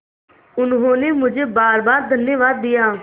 उन्होंने मुझे बारबार धन्यवाद दिया